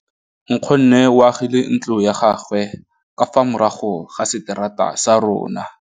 Nkgonne o agile ntlo ya gagwe ka fa morago ga seterata sa rona.